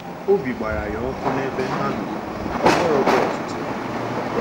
Obi gbara ya ọkụ n’ebe ha nọ, ọ gwọrọkwa ọtụtụ.